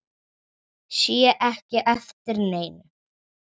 Sé ekki eftir neinu.